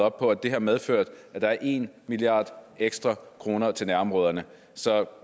og det har medført at der er en milliard ekstra kroner til nærområderne så